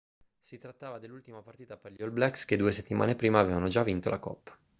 si trattava dell'ultima partita per gli all blacks che due settimane prima avevano già vinto la coppa